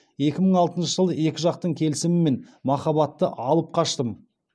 екі мың алтыншы жылы екі жақтың келісімімен махаббаты алып қаштым